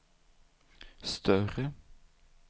större